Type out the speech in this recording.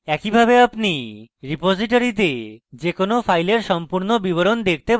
একইভাবে আপনি রিপোসিটরীতে যে কোনো file সম্পূর্ণ বিবরণ দেখতে পারেন